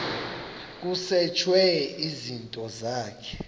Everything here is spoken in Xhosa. kusetshwe izinto zakho